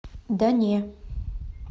да не